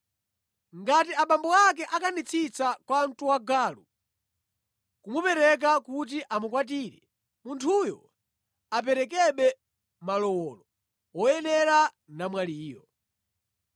Ngati abambo ake akanitsitsa kwamtuwagalu kumupereka kuti amukwatire, munthuyo aperekebe malowolo woyenera namwaliyo.